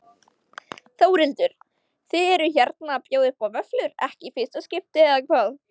Þórhildur: Þið eruð hérna að bjóða upp á vöfflur, ekki í fyrsta skipti eða hvað?